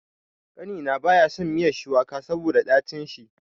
Ƙanina baya son miya shuwaka saboda dacin shi.